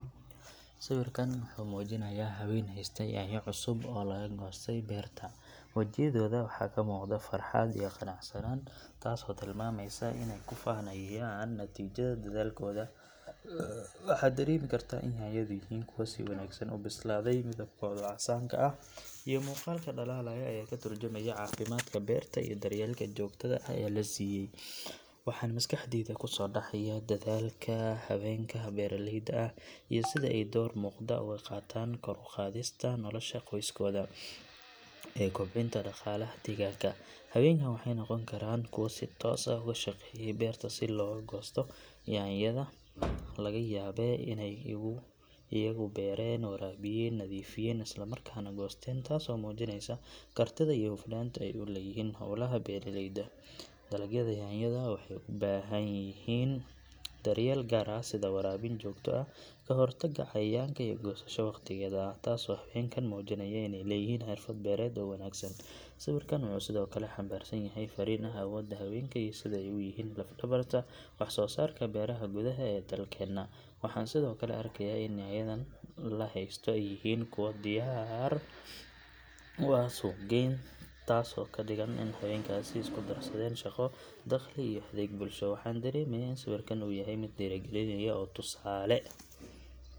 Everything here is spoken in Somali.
Sawirkan wuxuu muujinayaa haween haysta yaanyo cusub oo laga goostay beerta, wejiyadooda waxaa ka muuqata farxad iyo qanacsanaan taasoo tilmaamaysa inay ku faanayaan natiijada dadaalkooda. Waxaa dareemi kartaa in yaanyadu yihiin kuwo si wanaagsan u bislaaday, midabkooda casaanka ah iyo muuqaalka dhalaalaya ayaa ka tarjumaya caafimaadka beerta iyo daryeelka joogtada ah ee la siiyay. Waxaan maskaxdayda kusoo dhacaya dadaalka haweenka beeraleyda ah iyo sida ay door muuqda uga qaataan kor u qaadista nolosha qoysaskooda iyo kobcinta dhaqaalaha deegaanka. Haweenkan waxay noqon karaan kuwo si toos ah uga shaqeeyay beerta laga soo goostay yaanyada, laga yaabee inay iyagu beereen, waraabiyeen, nadiifiyeen islamarkaana goosteen taasoo muujinaysa kartida iyo hufnaanta ay u leeyihiin howlaha beeraleyda. Dalagyada yaanyada waxay u baahan yihiin daryeel gaar ah sida waraabin joogto ah, ka hortagga cayayaanka iyo goosasho waqtigeeda ah, taasoo haweenkan muujinaya inay leeyihiin xirfad beereed oo wanaagsan. Sawirkan wuxuu sidoo kale xambaarsan yahay fariin ah awoodda haweenka iyo sida ay u yihiin laf dhabarta wax soo saarka beeraha gudaha ee dalkeenna. Waxaan sidoo kale arkayaa in yaanyadan la haysto yihiin kuwo diyaar u ah suuq geynta taasoo ka dhigan in haweenkaasi ay isku darsadeen shaqo, dakhli iyo adeeg bulsho. Waxaa dareemeysaa in sawirkan uu yahay mid dhiirrigelinaya oo tusaale.